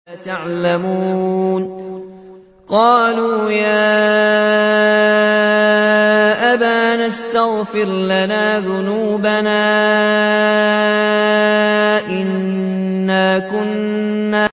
قَالُوا يَا أَبَانَا اسْتَغْفِرْ لَنَا ذُنُوبَنَا إِنَّا كُنَّا خَاطِئِينَ